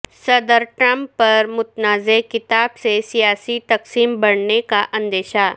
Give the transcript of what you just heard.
صدر ٹرمپ پر متنازع کتاب سے سیاسی تقسیم بڑھنے کا اندیشہ